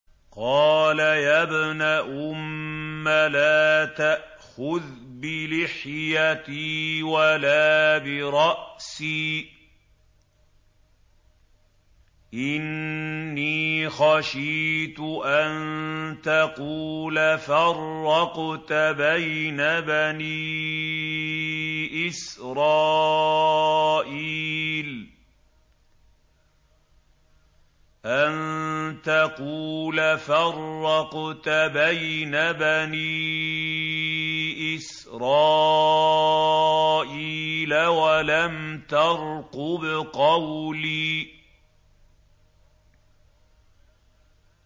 قَالَ يَا ابْنَ أُمَّ لَا تَأْخُذْ بِلِحْيَتِي وَلَا بِرَأْسِي ۖ إِنِّي خَشِيتُ أَن تَقُولَ فَرَّقْتَ بَيْنَ بَنِي إِسْرَائِيلَ وَلَمْ تَرْقُبْ قَوْلِي